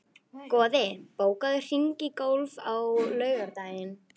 Goði, bókaðu hring í golf á laugardaginn.